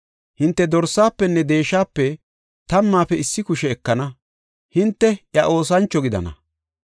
Hinte dorsafenne deeshape tammaafe issi kushe ekana; hinte iya oosancho gidana.